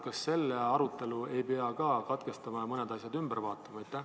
Kas selle arutelu ei pea ka katkestama ja mõned asjad ümber vaatama?